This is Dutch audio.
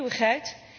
Een eeuwigheid?